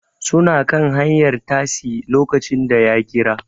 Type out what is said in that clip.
Suna kan hanyar tasi lokacin da ya kira